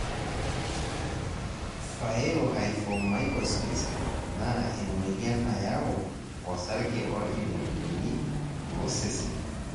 Phaeohyphomycosis naa emoyian nayau osarge ojing olchoni ,losesen